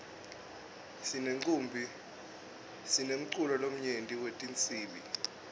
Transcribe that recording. sinemculo lomnyenti wetinsibi